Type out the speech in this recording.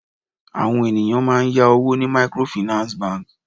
Àwọn ènìyàn máà ń yá owó ní microfinance bank.